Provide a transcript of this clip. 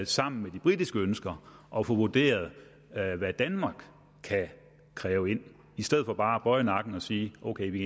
sammen med de britiske ønsker og få vurderet hvad hvad danmark kan kræve i stedet for bare at bøje nakken og sige ok vi